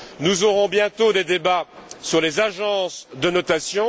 Nous mènerons bientôt des débats sur les agences de notation.